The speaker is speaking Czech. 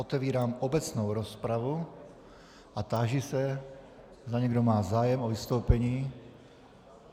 Otevírám obecnou rozpravu a táži se, zda někdo má zájem o vystoupení.